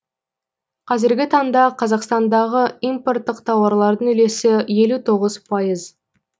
қазіргі таңда қазақстандағы импорттық тауарлардың үлесі елу тоғыз пайыз